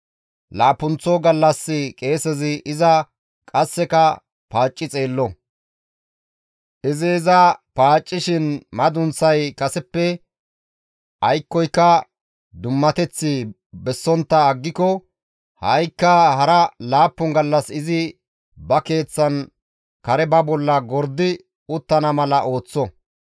Laappunththo gallas qeesezi iza qasseka paacci xeello; izi iza paaccishin madunththay kaseppe aykkoka dummateth bessontta aggiko ha7ikka hara laappun gallas izi ba keeththan kare ba bolla gordi uttana mala ooththo.